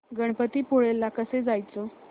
गणपतीपुळे ला कसं जायचं